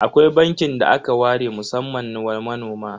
Akwai bankin da aka ware musamman wa manoma?